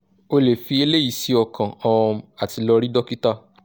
o le fi eleyi si okan um ati lo ri dokita